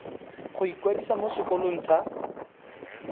go ikwadisa mo sekolong sa